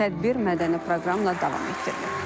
Tədbir mədəni proqramla davam etdirilib.